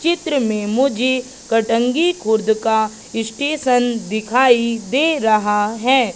चित्र में मुझे कटंगी खुर्द का स्टेशन दिखाई दे रहा है।